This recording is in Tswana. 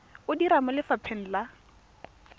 o dira mo lefapheng la